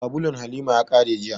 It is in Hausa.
Sabulun Halima ya ƙare jiya